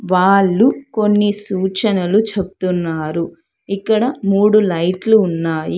వాళ్ళు కొన్ని సూచనలు చెప్తున్నారు. ఇక్కడ మూడు లైట్లు ఉన్నాయి.